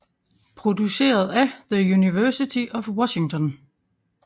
Produceret af The University of Washington